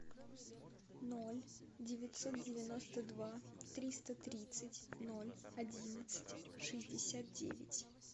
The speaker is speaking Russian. ноль девятьсот девяносто два триста тридцать ноль одиннадцать шестьдесят девять